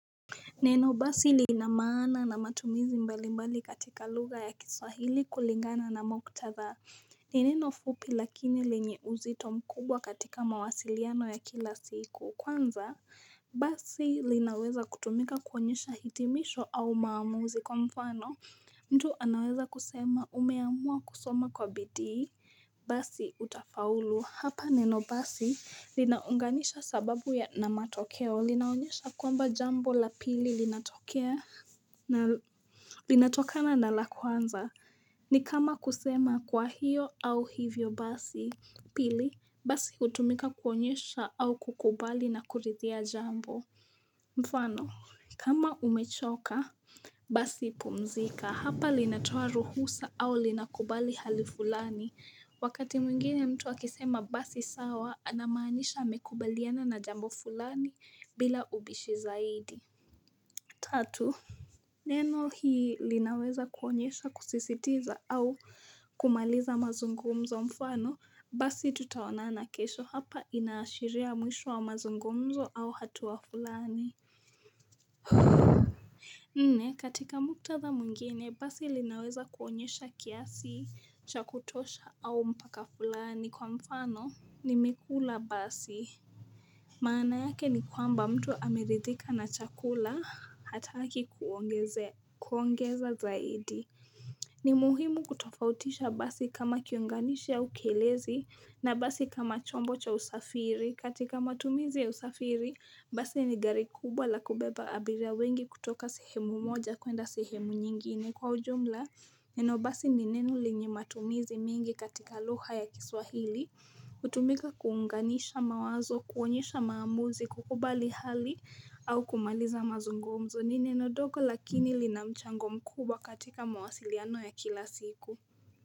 Neno basi lina maana na matumizi mbali mbali katika lugha ya kiswahili kulingana na muktadha ni neno fupi lakini lenye uzito mkubwa katika mawasiliano ya kila siku kwanza, Basi linaweza kutumika kuonyesha hitimisho au maamuzi kwa mfano mtu anaweza kusema umeamua kusoma kwa bidii Basi utafaulu, hapa neno basi linaunganisha sababu ya na matokeo linaonyesha kwamba jambo la pili linatokea Linatokana na la kwanza, ni kama kusema kwa hiyo au hivyo basi Pili, basi hutumika kuonyesha au kukubali na kurithia jambo, mfano, kama umechoka basi pumzika hapa linatoa ruhusa au linakubali hali fulani Wakati mwingine mtu akisema basi sawa anamanisha amekubaliana na jambo fulani bila ubishi zaidi Tatu, neno hii linaweza kuonyesha kusisitiza au kumaliza mazungumzo mfano Basi tutaonana kesho, hapa inaashiria mwisho wa mazungumzo au hatua fulani. Huuu. Nne katika muktadha mwengine basi linaweza kuonyesha kiasi cha kutosha au mpaka fulani kwa mfano, nimekula basi maana yake ni kwamba, mtu ameridhika na chakula hataki kuongezea, kuongeza zaidi. Ni muhimu kutofautisha basi kama kiunganisha au kielezi na basi kama chombo cha usafiri. Katika matumizi ya usafiri, basi ni gari kubwa la kubeba abiria wengi kutoka sehemu moja kwenda sehemu nyingine kwa ujumla. Neno basi ni neno lenye matumizi mingi katika lugha ya kiswahili. Hutumika kuunganisha mawazo, kuonyesha maamuzi, kukubali hali au kumaliza mazungumzo. Ni neno dogo lakini lina mchango mkubwa katika mawasiliano ya kila siku.